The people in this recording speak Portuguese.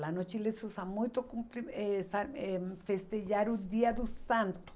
Lá no Chile se usa muito cumpri essa eh hum festejar o dia do santo.